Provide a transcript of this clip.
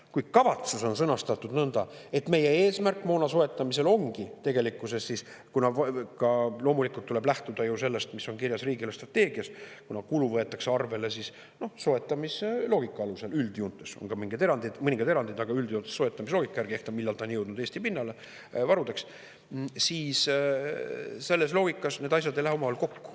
Kui kavatsus on sõnastatud nõnda, et see on meie eesmärk moona soetamisel, ja kuna loomulikult tuleb lähtuda sellest, mis on kirjas riigi eelarvestrateegias, kuna kulu võetakse arvele üldjoontes soetamisloogika alusel – on ka mõningad erandid, aga üldjoontes soetamise loogika järgi –, selle alusel, millal on jõudnud Eesti pinnale meie varudesse, siis selles loogikas ei lähe need asjad omavahel kokku.